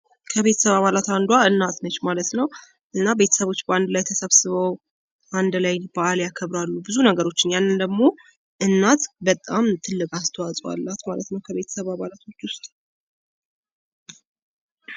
ከቤተሰብ አባላት አንዷ እናት ነች ማለት ነው እና ቤተሰብ በአንድ ላይ ተሰብስበው በአንድ ላይ በዓል ያከብራሉ ብዙ ነገሮቸን ያእንን ደግሞ እናት በጣም ትልቅ አስተዋፅ አላት ከቤተሰብ አባላቶች ውስጥ